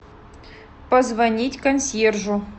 позвонить консьержу